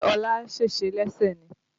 Ṣé ọlá sèse lẹ́sẹ̀ ni?